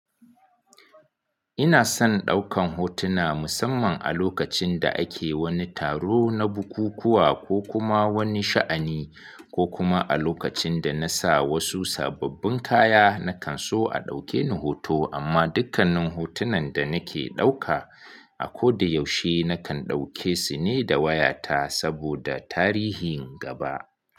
Ina son ɗaukan hotuna musamman a lokacin da ake wani taro na bukukuwa ko kuma wani sha'ani ko kuma a lokacin da na sa wasu sababbin kaya nakan so a ɗauke ni hoto amma dukkanin hotunan da nake ɗauka a ko da yaushe nakan ɗauke su ne da wayata saboda tarihin gaba.